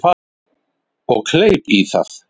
Og kleip í það.